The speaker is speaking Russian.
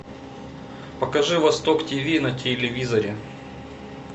покажи восток тв на телевизоре